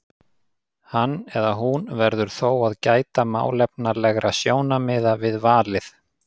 Hann eða hún verður þó að gæta málefnalegra sjónarmiða við valið.